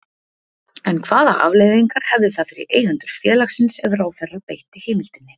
En hvaða afleiðingar hefði það fyrir eigendur félagsins ef ráðherra beitti heimildinni?